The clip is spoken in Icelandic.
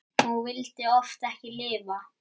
Og vildi oft ekki lifa.